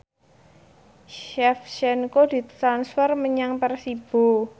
Shevchenko ditransfer menyang Persibo